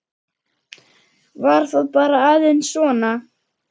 Var það bara aðeins svona?